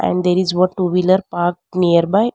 And there is a one two wheeler park nearby.